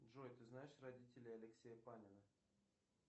джой ты знаешь родителей алексея панина